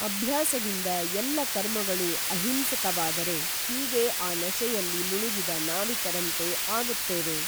ಅಭ್ಯಾಸದಿಂದ ಎಲ್ಲ ಕರ್ಮಗಳೂ ಅಹಿಂಸಕವಾದರೆ ಹೀಗೇ ಆ ನಶೆಯಲ್ಲಿ ಮುಳುಗಿದ ನಾವಿಕರಂತೆ ಆಗುತ್ತೇವೆ.